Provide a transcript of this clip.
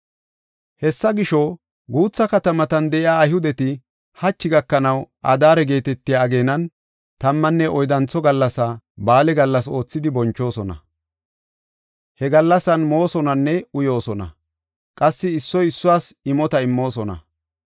Hessa gisho, guutha katamatan de7iya Ayhudeti hachi gakanaw Adaare geetetiya ageenan tammanne oyddantho gallasaa ba7aale gallas oothidi bonchoosona. He gallasan moosonanne uyoosona; qassi issoy issuwas imota immoosona.